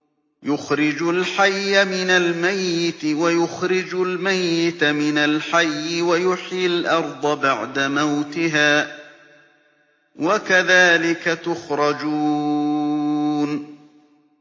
يُخْرِجُ الْحَيَّ مِنَ الْمَيِّتِ وَيُخْرِجُ الْمَيِّتَ مِنَ الْحَيِّ وَيُحْيِي الْأَرْضَ بَعْدَ مَوْتِهَا ۚ وَكَذَٰلِكَ تُخْرَجُونَ